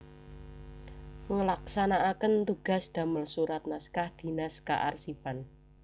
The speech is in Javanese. Ngelaksanaaken tugas damel surat naskah dinas kearsipan